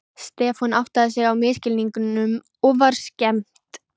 Stefán áttaði sig á misskilningnum og var skemmt.